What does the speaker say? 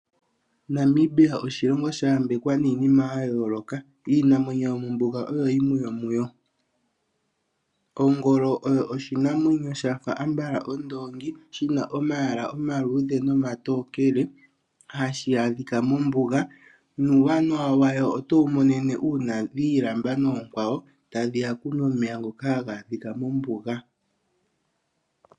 Namibia oshilongo sha yambekwa niinima ya yooloka. Iinamwenyo yomombuga oyo yimwe yomuyo. Ongolo oshinamwenyo shafa ondoongi shina omayala oma tokele nomaluudhe hashi adhika mombuga. Uuwanawa washo otowu mono ngele dhiilamba nookwawo tadhiya okunwa omeya nokagele mombuga.